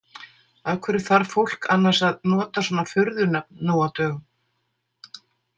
Af hverju þarf fólk annars að nota svona furðunöfn nú á dögum?